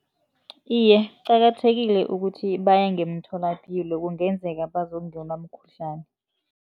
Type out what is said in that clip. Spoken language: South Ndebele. Iye, kuqakathekile ukuthi baye ngemtholapilo kungenzeka bazokungenwa mkhuhlani.